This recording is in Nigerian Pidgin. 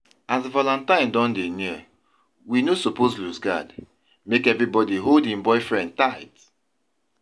As valentine don dey near we no suppose lose guard, make everybody hold im boyfriend tight